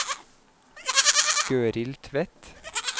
Gøril Tvedt